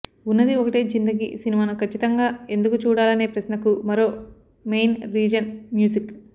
ఉన్నది ఒకటే జిందగీ సినిమాను కచ్చితంగా ఎందుకు చూడాలనే ప్రశ్నకు మరో మెయిన్ రీజన్ మ్యూజిక్